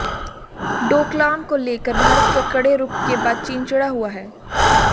डोकलाम को लेकर भारत के कड़े रूख के बाद चीन चिढ़ा हुआ है